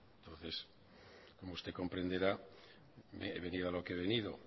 entonces como usted comprenderá he venido a lo que he venido